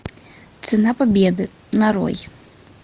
цена победы нарой